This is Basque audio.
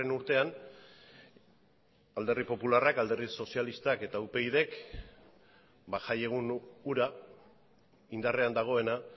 urtean alderdi popularrak alderdi sozialistak eta upydk jaiegun hura indarrean dagoena